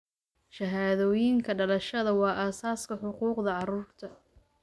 Shahaadooyinka dhalashada waa aasaaska xuquuqda carruurta.